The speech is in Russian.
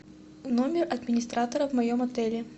номер администратора в моем отеле